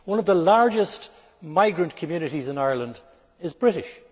One of the largest migrant communities in Ireland is British.